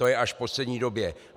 To je až v poslední době.